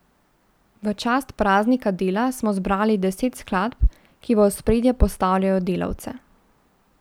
V čast praznika dela smo zbrali deset skladb, ki v ospredje postavljajo delavce.